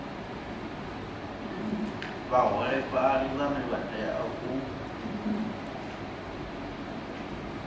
vhaholefhali vhane vha tea u